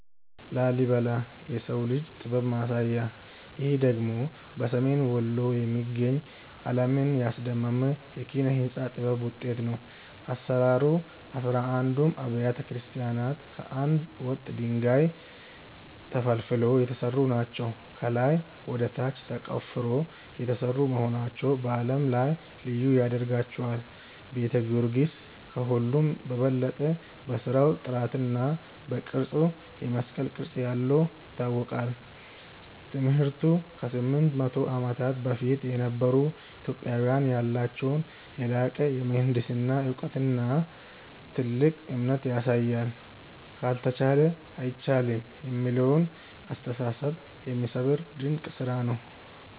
ላሊበላ (Lalibela) - "የሰው ልጅ ጥበብ ማሳያ" ይህ ደግሞ በሰሜን ወሎ የሚገኝ፣ ዓለምን ያስደመመ የኪነ-ሕንጻ ጥበብ ውጤት ነው። አሰራሩ፦ አሥራ አንዱም አብያተ ክርስቲያናት ከአንድ ወጥ ድንጋይ (Monolithic) ተፈልፍለው የተሰሩ ናቸው። ከላይ ወደ ታች ተቆፍረው የተሰሩ መሆናቸው በዓለም ላይ ልዩ ያደርጋቸዋል። ቤተ ጊዮርጊስ፦ ከሁሉም በበለጠ በሥራው ጥራትና በቅርጹ (የመስቀል ቅርጽ ያለው) ይታወቃል። ትምህርቱ፦ ከ800 ዓመታት በፊት የነበሩ ኢትዮጵያውያን ያላቸውን የላቀ የምህንድስና እውቀትና ጥልቅ እምነት ያሳያል። "ካልተቻለ አይቻልም" የሚለውን አስተሳሰብ የሚሰብር ድንቅ ስራ ነው።